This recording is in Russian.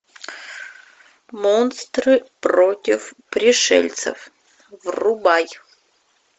монстры против пришельцев врубай